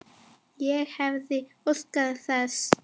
Ég hefði óskað þess.